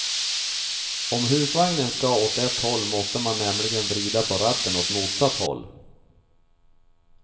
Om husvagnen ska åt ett håll nåste man nämligen vrida ratten åt motsatt håll.